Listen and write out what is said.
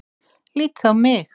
Lítið á mig!